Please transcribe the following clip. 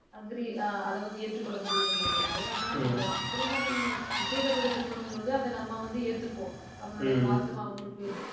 agree அஹ் அதை வந்து, ஏற்றுக்கொள்ள முடிய மாட்டேங்குது. ஆனா நம்ம திருமணம் நிச்சயிக்கப்பட்ட திருமணம் பொழுது அதை நம்ம வந்து ஏத்துக்குவோம். நம்மளுடைய பாசம் அவங்களுக்கு